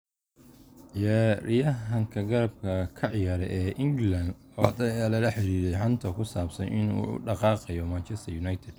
Ciyaaryahanka garabka ka ciyaara ee England, labatan ayaa lala xiriiriyay xanta ku saabsan inuu u dhaqaaqayo Manchester United.